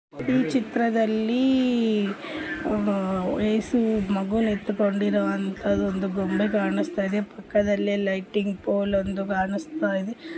ಈ ಚಿತ್ರದಲ್ಲಿ ಏಸು ಮಗುವನ್ನು ಹೊತ್ತುಕೊಂಡಿರುವಂತಹ ಒಂದು ಗೊಂಬೆ ಕಾಣಿಸ್ತಾ ಇದೆ ಪಕ್ಕದಲ್ಲಿ ಲೈಟಿಂಗ್ ಫೋಲ್ ಒಂದು ಕಾಣಿಸ್ತಾ ಇದೆ.